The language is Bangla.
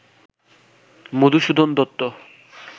মধুসূদন দত্ত